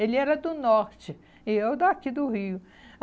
Ele era do Norte e eu daqui do Rio.